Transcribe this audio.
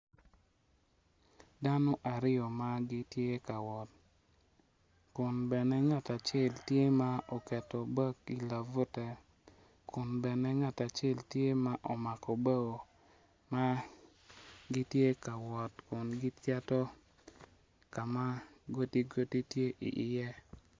Dano aryo ma gitye ka wot kun bene ngat acel tye ma oketo bag i lak bute kun bene ngat acel tye ma omako bao ma gitye ka wot gicito ka ma godigodi tye iye.